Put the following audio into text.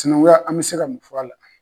Cinankuya an bɛ se ka mun fɔ a la?